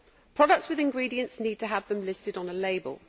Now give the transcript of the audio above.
Products with ingredients need to have them listed on a label.